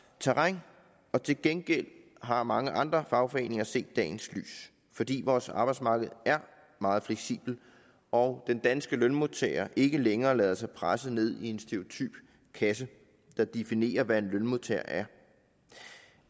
terræn men til gengæld har mange andre fagforeninger set dagens lys fordi vores arbejdsmarked er meget fleksibelt og den danske lønmodtager ikke længere lader sig presse ned i en stereotyp kasse der definerer hvad en lønmodtager er